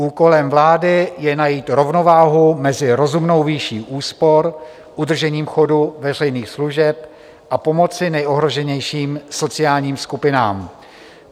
Úkolem vlády je najít rovnováhu mezi rozumnou výší úspor, udržením chodu veřejných služeb a pomocí nejohroženějším sociálním skupinám.